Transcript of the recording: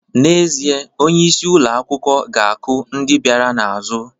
N'ezie, onyeisi ụlọ akwụkwọ ga-akụ ndị bịara n'azụ